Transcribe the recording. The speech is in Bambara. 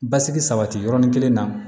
Basigi sabati yɔrɔnin kelen na